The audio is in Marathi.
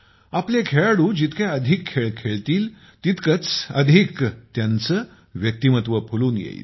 आपले खेळाडू जितके अधिक खेळ खेळतील तितकेच अधिक त्यांचे व्यक्तिमत्त्व फुलून येईल